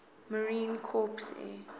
marine corps air